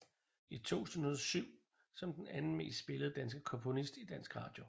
I 2007 som den anden mest spillede danske komponist i dansk radio